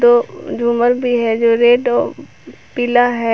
दो झूमर भी है जो रेड और पीला है।